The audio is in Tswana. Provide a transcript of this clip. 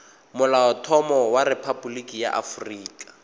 molaotlhomo wa rephaboliki ya aforika